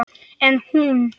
En hún.